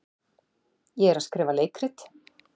Ég er að skrifa leikrit.